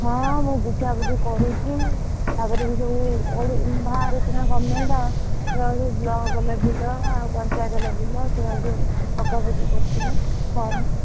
ହଁ, ମୁଁ ବୁଝାବୁଝି, କରୁଛି ତାପରେ ଯୋଉସବୁ ବାହାରୁଛି ନା government ଯୋଉ ହଉଛି block label ର ଆଉ ପଂଚାୟତ label ର ସେଇଆକୁ ପକାପକି କରୁଛି ମୁଁ. form ।